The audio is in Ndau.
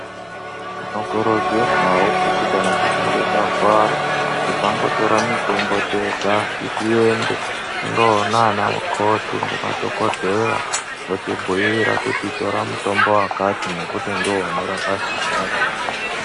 Tinokurudzirwawo kuti kana tichinge takuwara tisangotora mitombo tega tiende kunoona ana mukoti nemadhokoteya votibhuyira kuti tora mutombo wakati nekuti ndiwo unorapa zvakati